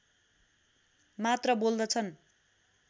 मात्र बोल्दछन्